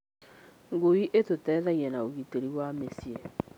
Ngui ĩtũteithagia na ũgitĩri wa mĩciĩ.